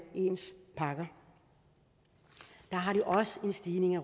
ens pakker der har de også en stigning i